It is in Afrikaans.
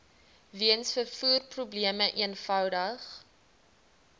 weens vervoerprobleme eenvoudig